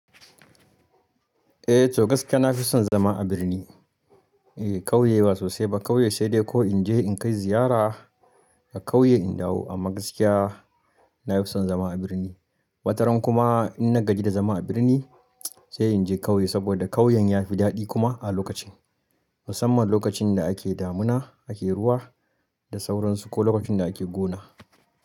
Eh, to gaskiya na fi son zama a birni. Eh, ƙauye ba sosai ba. Ƙauye sai dai ko in je in kai ziyara a ƙauye in dawo. Amma gaskiya na fi son zama a birni. Wataran kuma in na gaji da zama a birni sai in je ƙauye saboda ƙauyen ya fi daɗi kuma a lokacin. Musamman lokacin da ake damuna, ake ruwa da sauransu ko lokacin da ake gona.